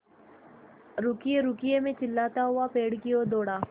रुकिएरुकिए मैं चिल्लाता हुआ पेड़ की ओर दौड़ा